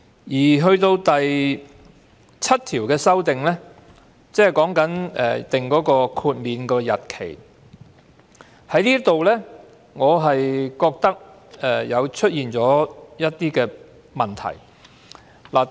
《條例草案》第7條的修訂有關豁免日期，我認為這裏出現了一些問題。